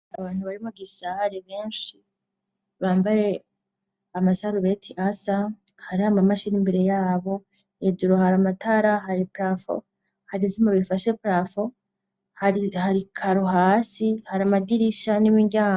Abantu bari mugisare benshi bambaye amasarubeti asa hariho amamashini imbere yabo, hejuru har'amatara, har'iparafo, hari ivyuma bifashe iparafo, har'ikaro hasi, har'amadirisha n'imiryango.